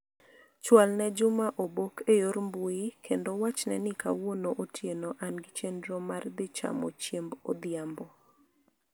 Chwal ne Juma obok e yor mbui kendo wachne ni kawuono otieno an gi chenro mar dhi chamo chiemb odhiambo.